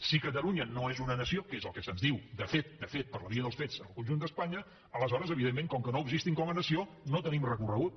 si catalunya no és una nació que és el que se’ns diu de fet de fet per la via dels fets en el conjunt d’espanya aleshores evidentment com que no existim com a nació no tenim recorregut